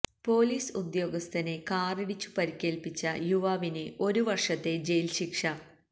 police ഉദ്യോഗസ്ഥനെ കാറിടിച്ചു പരിക്കേൽപ്പിച്ച യുവാവിന് ഒരു വർഷത്തെ ജയിൽ ശിക്ഷ